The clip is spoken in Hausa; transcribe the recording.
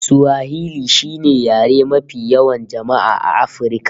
Swahili shine yare mafi yawan jama'a A afirka